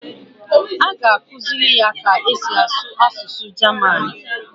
A ga-akụziri ya ka e si asụ asụsụ Jaman